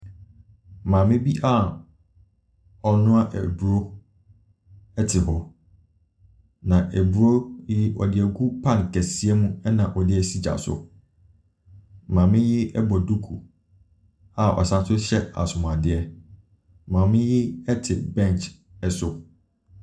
Maame bi a ɔrenoa aduro ɛte hɔ. Na aduro yi ɔdeɛgu pan kɛseɛ mu na ɔdeɛsi gya so. Maame yi ɛbɔ duku a ɔsanso hyɛ asomaadiɛ. Maame yi ɛte bench ɛso.